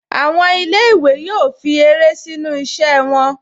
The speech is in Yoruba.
Àwọn ilé-ìwé yóò fi eré sínu iṣẹ́-ìse wọn